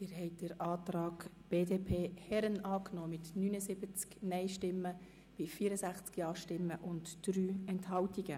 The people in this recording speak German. Sie haben den Antrag BDP/Herren angenommen mit 79 Nein- gegen 64 Ja-Stimmen bei 3 Enthaltungen.